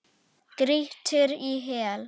Grýttir í hel.